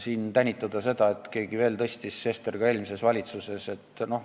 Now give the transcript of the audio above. Siin pole mõtet tänitada, et keegi veel tõstis, Sester ka eelmises valitsuses jne.